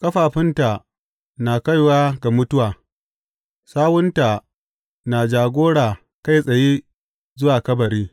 Ƙafafunta na kaiwa ga mutuwa; sawunta na jagora kai tsaye zuwa kabari.